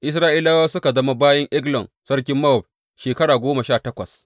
Isra’ilawa suka zama bayin Eglon sarkin Mowab shekara goma sha takwas.